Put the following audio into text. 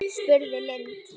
spurði Lind.